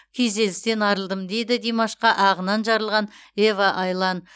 күйзелістен арылдым дейді димашқа ағынан жарылған ева айлан